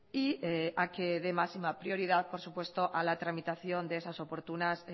y a que dé máxima prioridad por supuesto a la tramitación de esas oportunas